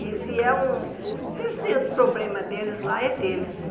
E se é um se eles têm os problemas deles, lá é deles.